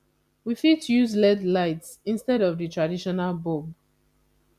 we fit use led lights instead of di traditional bulb